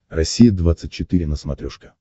россия двадцать четыре на смотрешке